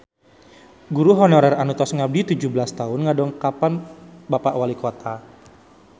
Guru honorer anu tos ngabdi tujuh belas tahun ngadongkapan Bapak Walikota